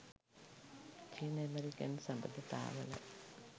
චීන ඇමෙරිකන් සබඳතාවල